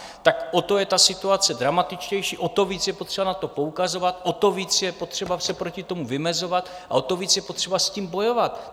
Tak o to je ta situace dramatičtější, o to víc je potřeba na to poukazovat, o to víc je potřeba se proti tomu vymezovat a o to víc je potřeba s tím bojovat.